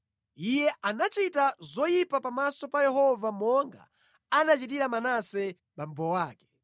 Iye anachita zoyipa pamaso pa Yehova monga anachitira Manase abambo ake.